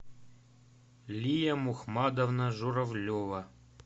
лия мухмадовна журавлева